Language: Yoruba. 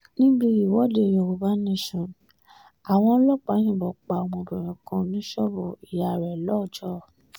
níbi ìwọ́de yorùbá nation àwọn ọlọ́pàá yìnbọn pa ọmọbìnrin kan ní ṣọ́ọ̀bù ìyá rẹ̀ lọ́jọ́